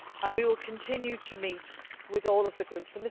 well. We will continue to meet with all of the groups.